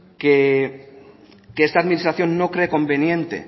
que esta administración no cree conveniente